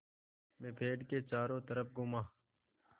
मैं पेड़ के चारों तरफ़ घूमा